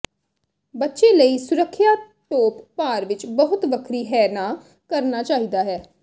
ਬੱਚੇ ਲਈ ਸੁਰੱਖਿਆ ਟੋਪ ਭਾਰ ਵਿਚ ਬਹੁਤ ਵੱਖਰੀ ਹੈ ਨਾ ਕਰਨਾ ਚਾਹੀਦਾ ਹੈ